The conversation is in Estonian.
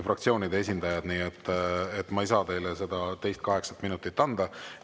Nii et ma ei saa teile seda teist kaheksat minutit anda.